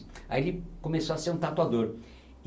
Aí ele começou a ser um tatuador.